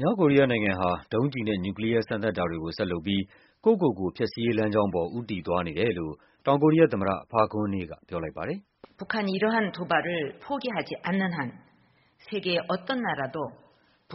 မြောက်ကိုရီးယားနိုင်ငံဟာ ဒုံးကျည်နဲ့ နျူကလီးယားစမ်းသပ်တာတွေကို ဆက်လုပ်ပြီး ကိုယ့်ကိုယ်ကိုဖျက်ဆီးရေး လမ်းကြောင်း ကို ဦးတည် သွားနေတယ် လို့ တောင်ကိုရီးယား သမ္မတ Park Geun-hye က ပြောလိုက်ပါတယ်။